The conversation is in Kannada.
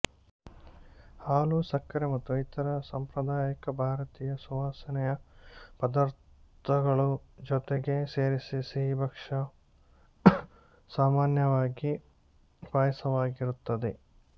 ಹಾಲು ಸಕ್ಕರೆ ಮತ್ತು ಇತರೆ ಸಾಂಪ್ರದಾಯಿಕ ಭಾರತೀಯ ಸುವಾಸನೆಯ ಪದಾರ್ಥಗಳ ಜೊತೆಗೆ ಸೇರಿಸಿದ ಸಿಹಿಭಕ್ಷ್ಯವು ಸಾಮಾನ್ಯವಾಗಿ ಪಾಯಸವಾಗಿರುತ್ತದೆ